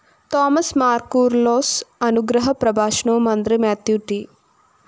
Thomas Mar‍ Koorilos അനുഗ്രഹ പ്രഭാഷണവും മന്ത്രി മാത്യു ട്‌